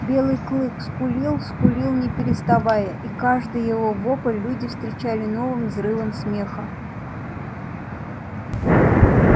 белый клык скулил скулил не переставая и каждый его вопль люди встречали новым взрывом смеха